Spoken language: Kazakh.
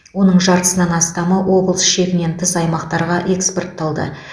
оның жартысынан астамы облыс шегінен тыс аймақтарға экспортталды